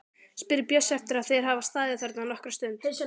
spyr Bjössi eftir að þeir hafa staðið þarna nokkra stund.